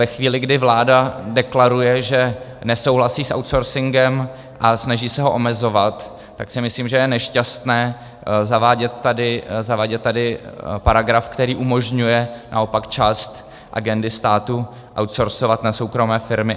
Ve chvíli, kdy vláda deklaruje, že nesouhlasí s outsourcingem, a snaží se ho omezovat, tak si myslím, že je nešťastné zavádět tady paragraf, který umožňuje naopak část agendy státu outsourcovat na soukromé firmy.